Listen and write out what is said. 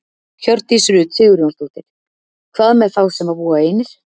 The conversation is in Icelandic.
Hjördís Rut Sigurjónsdóttir: Hvað með þá sem að búa einir?